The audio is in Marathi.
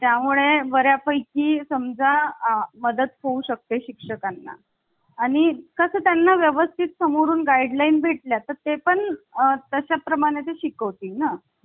त्यामुळे बर् यापैकी ची समजा मदत होऊ शकते. शिक्षकां ना आणि कसं त्यांना व्यवस्थित समोरून guidelines भेटले तर ते पण तशा प्रमाणेच शिकवतील ना तुम्ही